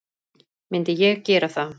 Myndi ég gera það?